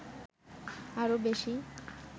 আরো বেশী